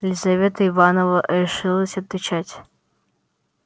лизавета ивановна решилась отвечать